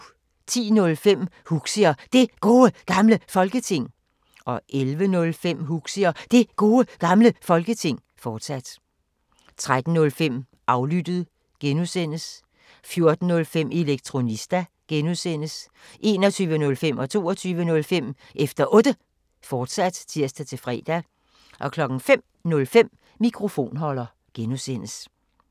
10:05: Huxi og Det Gode Gamle Folketing 11:05: Huxi og Det Gode Gamle Folketing, fortsat 13:05: Aflyttet G) 14:05: Elektronista (G) 21:05: Efter Otte, fortsat (tir-fre) 22:05: Efter Otte, fortsat (tir-fre) 05:05: Mikrofonholder (G)